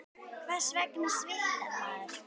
Hvers vegna svitnar maður?